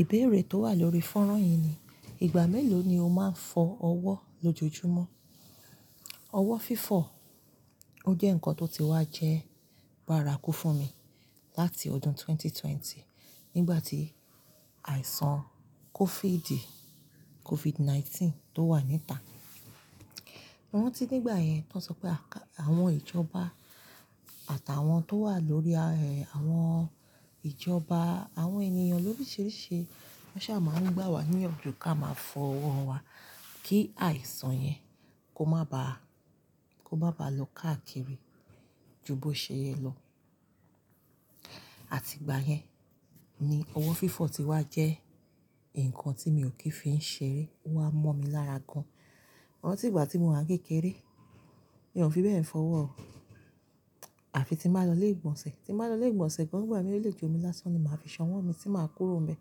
Ìbéèrè tó wà lórí fọ́nrán yìí ni, ìgbà mélòó ni o máa ń fọ ọwọ́ lójoojúmọ́? Ọwọ́ fífọ̀ ó jẹ́ ǹkan tó ti wá jẹ́ bárakú fún mi láti ọdún ẹgbẹ̀rún méjì ó lé ogún nígbà tí àìsàn COVID, COVID-19 tó wà ní ìta. Mo rántí nígbà yẹn, tó ń sọ pé àwọn ìjọba àtàwọn tó wà lórí, àwọn ìjọba, àwọn ènìyàn lóríṣìíríṣìí wọ́n ṣà máa ń gbà wá níyànjú kí a máa fọ ọwọ́ wa kí àìsàn yẹn kó má ba, kó má ba lọ káàkiri ju bó ṣe yẹ lọ. Àti ìgbà yẹn ni ọwọ́ fífọ̀ ti wá jẹ́ ǹkan tí mi ò kí fi ń ṣeré. Ó wá ń mọ́ mi lára gan. Mo rántí ìgbà tí mò ń kékeré, mi ò fi bẹ́ẹ̀ fọwọ́. Àfi tí màá lọ ilé ìgbọ̀nsẹ̀. Tí màá lọ ilé ìgbọ̀nsẹ̀ kan, ìgbà mìíràn ilé je omi lásán ni màá fi ṣànwọ́ mi tí màá kúrò mi.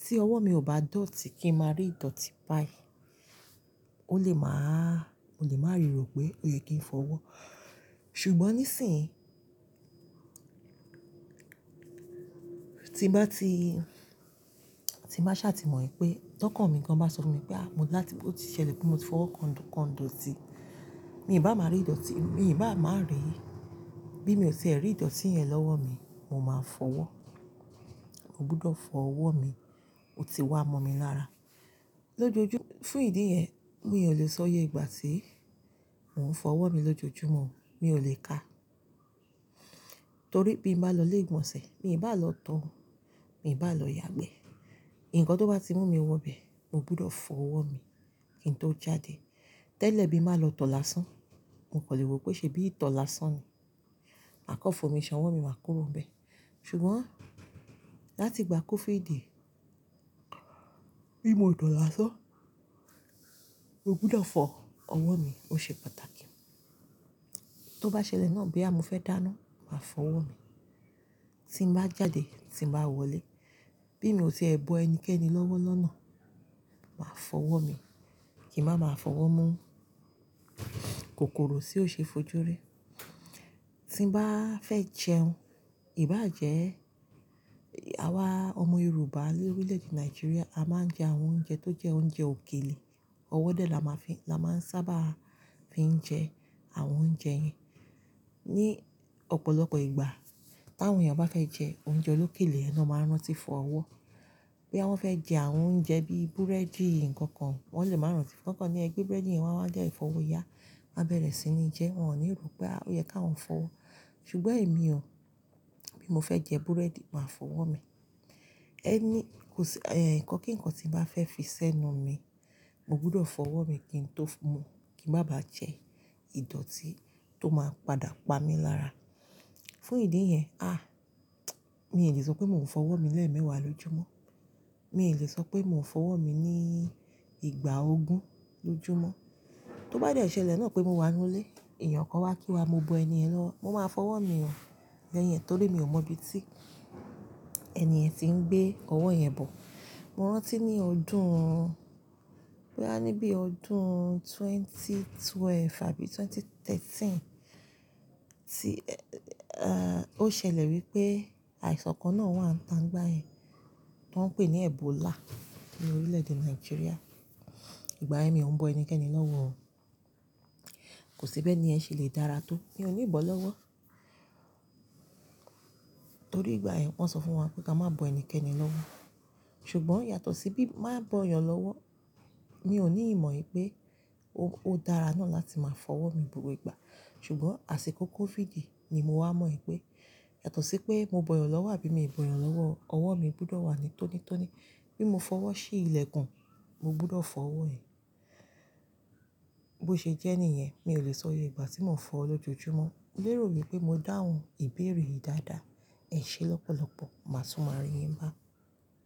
Tí ọwọ́ mi ò bá dọ̀tí kí n máa rí ìdọ̀tí pai. Ó lè máa, mo lè máa rí ro pé ó yẹ kí n fọwọ́. Ṣùgbọ́n níìsín, tí bá ti, tí màá ṣàtì mọ̀ pé tọkàn mi kan bá sọ fún mi pé a, mo ti ṣẹlẹ̀ pé mo ti fọwọ́ kan idọ̀tí, mi ò bá máa rí ìdọ̀tí, mi ò bá máa rí, bí mi ò ṣe ẹ̀ rí ìdọ̀tí yẹn lọ́wọ́ mi, mo máa fọwọ́. Mo gbúdọ̀ fọ ọwọ́ mi. Ó ti wá mọ́ mi lára. Lójojú, fún ìdí yẹn, mi ò lè sọ yé ìgbà tí mò ń fọ ọwọ́ mi lójoojúmọ́. Mi ò lè kàá. Torí bí mo bá lọ ilé ìgbọ̀nsẹ̀, mi ò bá lọ tọ̀ o, mi ò bá lọ yàgbẹ́. Ǹkan tó bá ti mú mi wọ bẹ̀, mo gbúdọ̀ fọ ọwọ́ mi kí n tó jáde. Tẹ́lẹ̀ bí màá lọ tọ̀ lásán, mo kò lè ro pé ṣe bí tọ̀ lásán ni. Ma kan fi omi ṣànwọ́ mi máa kúrò bẹ̀. Ṣùgbọ́n láti ìgbà COVID, bí mo tọ̀ lásán, mo gbúdọ̀ fọ ọwọ́ mi. Ó ṣe pàtàkì. Tó bá ṣẹlẹ̀ náà boya mo fẹ́ dáná, màá fọ ọwọ́ mi. Tí bàá jáde, tí bàá wọlé, bí mi ò ti ẹ bo ẹnikẹ́ni lọ́wọ́ lọ́nà, màá fọ ọwọ́ mi. Kì í máa máa fọwọ́ mú kòkòrò tí ó ṣe é fojú rí. Tí mo bá fẹ́ jẹun, ìbá jẹ ẹ́, àwa ọmọ Yorùbá ní orílẹ̀-èdè Nigeria, a máa ń jẹ àwọn oúnjẹ tó jẹ́ oúnjẹ òkèlè. Ọwọ́ dẹ̀ là má fi, là má ń sábà fi ń jẹ àwọn oúnjẹ yẹn. Ní ọ̀pọ̀lọpọ̀ ìgbà, táwọn èèyàn bá fẹ́ jẹ oúnjẹ olókèlé, ẹni ló máa ń rántí fọ ọwọ́. Bí wọ́n fẹ́ jẹ àwon oúnjẹ bí búrẹ́dì nǹkan kan, wọ́n lè máa rántí, nǹkan kan ní ẹgbẹ́ búrẹ́dì yẹn wá wá dẹ́ẹ̀ fọwọ́ yá, máa bẹ̀rẹ̀ sí ní jẹ, wọ́n ò ní ro pé a, ó yẹ kí wọ́n fọwọ́. Ṣùgbọ́n èmi ò. Bí mo fẹ́ jẹ búrẹ́dì, màá fọwọ́ mi. Ẹni, kò sí, ẹ́ẹ́, ǹkan kí ǹkan tí màá fẹ́ fi sẹ́nu mi, mo gbúdọ̀ fọ ọwọ́ mi kí n tó mu, kí n má ba jẹ ìdọ̀tí tó máa padà pa mí lára. Fún ìdí yẹn, à, mi ò lè sọ pé mò ń fọ ọwọ́ mi lẹ́ẹ̀mẹwàá lójúmọ́. Mi ò lè sọ pé mò ń fọ ọwọ́ mi ní ìgbà ogún lójúmọ́. Tó bá jẹ́ ẹ ṣẹlẹ̀ náà pé mo wà nínú ilé, èèyàn kan wá kí wa, mo bọ́ ẹni ẹ̀ lọ, mo máa fọ ọwọ́ mi bee yẹn, torí mi ò mọ ibi tí ènìyàn tí ń gbé ọwọ́ yẹn bọ̀. Mo rántí ní ọdún, rárá, níbi ọdún ẹgbẹ̀rún méjì ó lé méjìlá àbí ẹgbẹ̀rún méjì ó lé mẹ́tàlá, tí, ó ṣẹlẹ̀ wípé àìsàn kan náà wà ń ta nígbà yẹn, tó ń pè ní Ebola ní orílẹ̀-èdè Nigeria. Ìgbà yẹn mi ò ń bọ́ ẹnikẹ́ni lọ́wọ́. Kò sí bẹ́ẹ̀ ni ẹ́ ṣe lè dára tó. Mi ò ní bọ́ lọ́wọ́. Torí ìgbà yẹn wọ́n sọ fún wa pé ká má bọ́ ẹnikẹ́ni lọ́wọ́. Ṣùgbọ́n yàtọ̀ sí bí màá bọ́ èèyàn lọ́wọ́, mi ò ní ìmọ̀ pé ó dára náà láti máa fọ ọwọ́ mi gbogbo ìgbà. Ṣùgbọ́n àsìkò COVID ni mo wá mọ̀ pé yàtọ̀ sí pé mo bọ́ èèyàn lọ́wọ́ àbí mi ò bọ́ èèyàn lọ́wọ́, ọwọ́ mi gbúdọ̀ wà ní tóní tóní. Bí mo fọwọ́ sí ilẹ̀ kan, mo gbúdọ̀ fọ ọwọ́ yẹn. Bó ṣe jẹ́ niyẹn, mi ò lè sọ iyé ìgbà tí mò ń fọ lójoojúmọ́. Mo lero wí pé mo dáhùn ìbéèrè yìí dáadáa. Ẹ ṣe lọ́pọ̀lọpọ̀, màá tún máa rí yín bá.